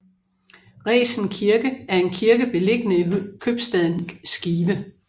Resen Kirke er en kirke beliggende i købstaden Skive